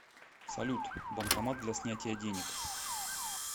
салют банкомат для снятия денег